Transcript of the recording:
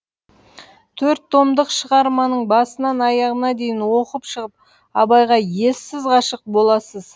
төрт томдық шығарманың басынан аяғына дейін оқып шығып абайға ессіз ғашық боласыз